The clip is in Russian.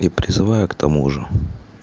и призываю к тому же